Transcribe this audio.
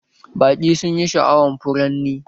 Baƙi sunyi sha'awan furanni